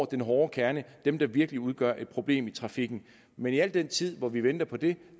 den hårde kerne dem der virkelig udgør et problem i trafikken men i al den tid hvor vi venter på det